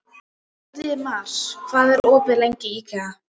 Hildimar, hvað er opið lengi í IKEA?